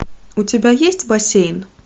у тебя есть бассейн